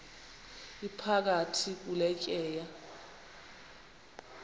iphakathi kule tyeya